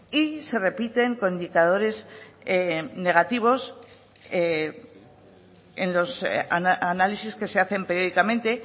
y se repiten con indicadores negativos en los análisis que se hacen periódicamente